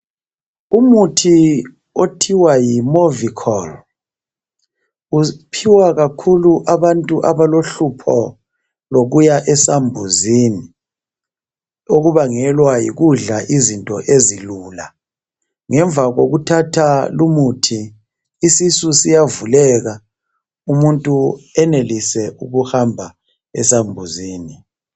Umuthi othiwa yi Movicol. Uphiwa kakhulu abantu abalohlupho lokuya esambuzini. Okubangelwa yikubadla izinto ezilula. Ngemva kokuthatha lumuthi isisu siyavuleka. Ukuntu enelise ukuhamba esamhuzini.